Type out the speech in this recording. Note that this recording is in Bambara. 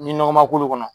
Ni nɔgɔ ma k'olu kɔnɔ